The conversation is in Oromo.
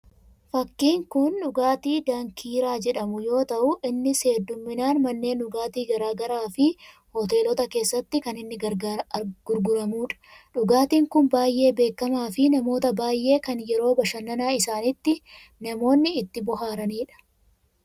Fakkiin kun dhugaatii dankiiraa jedhamu yoo ta'u, innis hedduminaan manneen dhugaatii garaagaraa fi hoteelota keessatti kan inni gurguramudha. Dhugaatiin kun baayyee beekamaa fi namoota baayyeen kan yeroo bashannanaa isaanitti namoonni itti bohaaraniidha.